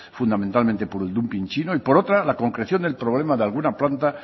fundamentalmente por el dumping chino y por otra la concreción del problema de alguna planta